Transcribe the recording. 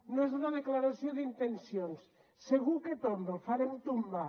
no és una declaració d’intencions segur que tomba el farem tombar